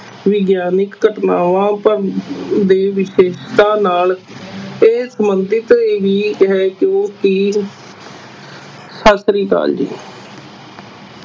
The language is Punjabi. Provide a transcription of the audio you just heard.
ਵਿਗਿਆਨਕ ਘਟਨਾਵਾਂ ਦੇ ਵਿਸ਼ੇਸਤਾ ਨਾਲ ਇਹ ਸੰਬੰਧਿਤ ਇਹੀ ਹੈ ਸਤਿ ਸ੍ਰੀ ਅਕਾਲ ਜੀ।